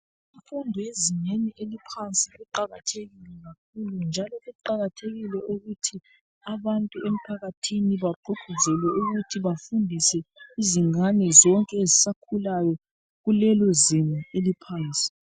Imfundo yezingeni eliophansi iqakathekile kakhulu, njalo kuqakathekile ukuthi abantu emphakathini bagqugquzelwe ukuthi bafundise izingane zonke ezisakhulayo kulelozinga eliphansi.